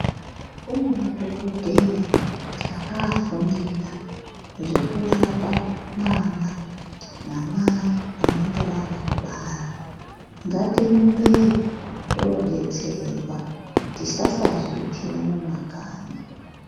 Kune madhokodheya akaafundira zvekurapa mwana namai vanenge vabva kubara. Ngatirumbeyo toodetserwa. Tisasazviitira mumakanyi.